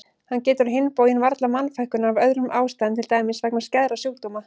Hann getur á hinn bóginn varla mannfækkunar af öðrum ástæðum til dæmis vegna skæðra sjúkdóma.